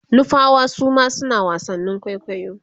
nupawa Suma suna wasannin kwaikwayo